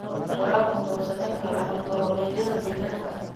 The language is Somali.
Waraabku wuxuu saamayn karaa hab-nololeedyada deegaanka.